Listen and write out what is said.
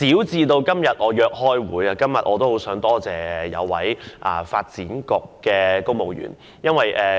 就我今天要約開會這件小事，我亦想多謝一名發展局的公務員。